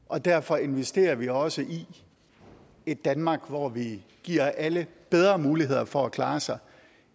og derfor investerer vi også i et danmark hvor vi giver alle bedre muligheder for at klare sig